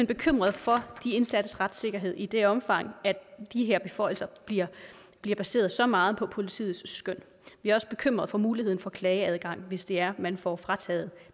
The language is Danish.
bekymret for de indsattes retssikkerhed i det omfang at de her beføjelser bliver bliver baseret så meget på politiets skøn vi er også bekymret for muligheden for klageadgang hvis det er man får frataget